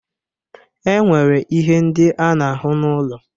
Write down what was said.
E nwere ihe ndị a na-ahụ n'ụlọ.